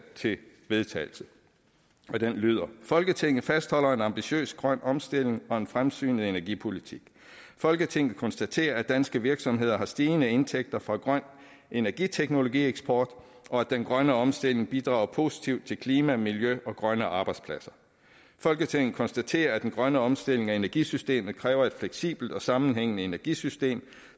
til vedtagelse folketinget fastholder målet om en ambitiøs grøn omstilling og en fremsynet energipolitik folketinget konstaterer at danske virksomheder har stigende indtægter fra grøn energiteknologi eksport og at den grønne omstilling bidrager positivt til klima miljø og grønne arbejdspladser folketinget konstaterer at den grønne omstilling af energisystemet kræver et fleksibelt og sammenhængende energisystem